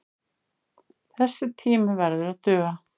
Þessi tími verði að duga.